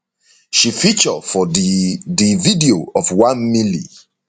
she feature for di di video of 1 milli